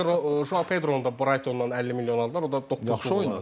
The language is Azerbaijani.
Həm də Petronun Brightonla 50 milyon o da.